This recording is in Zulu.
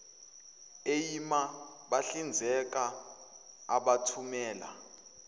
eima bahlinzeka abathumela